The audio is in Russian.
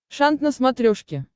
шант на смотрешке